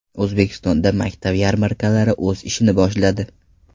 O‘zbekistonda maktab yarmarkalari o‘z ishini boshladi.